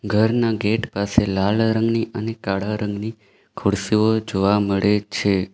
ઘરના ગેટ પાસે લાલ રંગની અને કાળા રંગની ખુરશીઓ જોવા મળે છે.